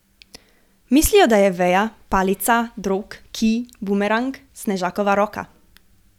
Mislijo, da je veja, palica, drog, kij, bumerang, snežakova roka.